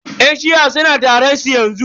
Yan shi'a suna taron su yanzu.